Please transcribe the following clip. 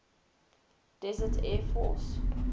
desert air force